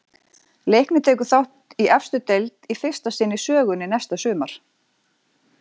Leiknir tekur þátt í efstu deild í fyrsta sinn í sögunni næsta sumar.